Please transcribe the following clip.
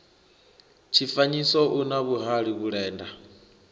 tshifanyiso u na vhuhali vhulenda